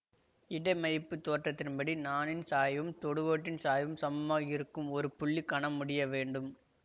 இடைமைப்புத் தேட்டத்தின்படி நாணின் சாய்வும் தொடுகோட்டின் சாய்வும் சமமாக இருக்கும் ஒரு புள்ளி கணம் முடிய வேண்டும்